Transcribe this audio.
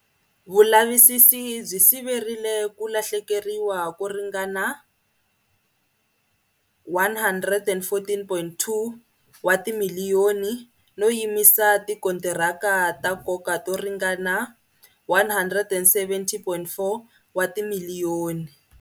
Vulavisisi byi siverile ku lahlekeriwa ko ringana R114.2 wa timiliyoni, no yimisa tikontiraka ta nkoka to ringana R170.4 wa timiliyoni.